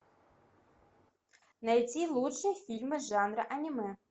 найти лучшие фильмы жанра аниме